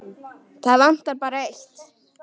Það vantar bara eitt.